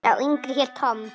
Sá yngri hét Tom.